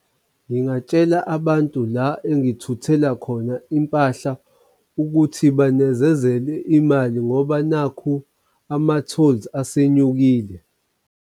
Ngingatshela abantu la engithuthela khona impahla ukuthi banezezele imali ngoba nakhu ama-tolls asenyukile.